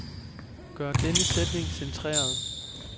Gør denne sætning centreret.